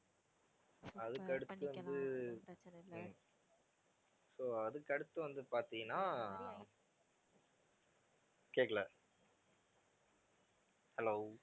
அதுக்கடுத்தது வந்து உம் so அதுக்கடுத்து வந்து பார்த்தீன்னா ஆஹ் கேட்கலை hello